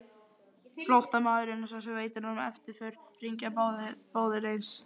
Flóttamaðurinn og sá sem veitir honum eftirför hringja báðir eins.